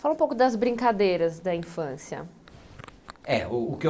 Fala um pouco das brincadeiras da infância. É o